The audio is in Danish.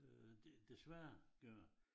Øh desværre gør